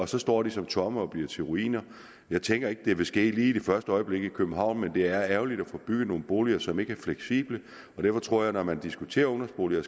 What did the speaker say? så står de tomme og bliver til ruiner jeg tænker ikke at det vil ske lige i første øjeblik i københavn men det er ærgerligt at få bygget nogle boliger som ikke er fleksible og derfor tror jeg når man diskuterer ungdomsboliger